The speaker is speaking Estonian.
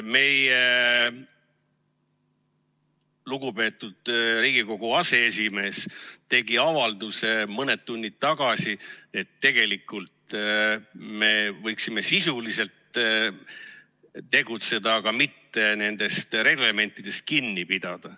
Meie lugupeetud Riigikogu aseesimees tegi mõned tunnid tagasi avalduse, et tegelikult me võiksime sisuliselt tegutseda, mitte reglementidest kinni pidada.